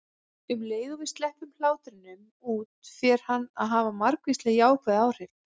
Um leið og við sleppum hlátrinum út fer hann að hafa margvísleg jákvæð áhrif.